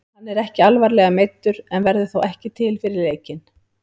Hann er ekki alvarlega meiddur en verður þó ekki til fyrir leikinn.